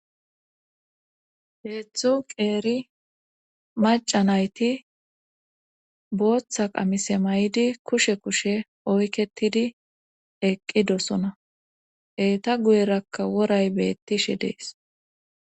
Heedzdzu qeeri macanayti booththa qamise may'idi kushe kushe oyketidi eqqi dosona eeta guyerakka woray beettishe dees